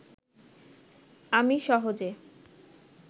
আমি সহজে